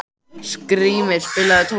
Skrýmir, spilaðu tónlist.